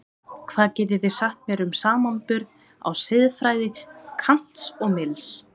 Hvað getið þið sagt mér um samanburð á siðfræði Kants og Mills?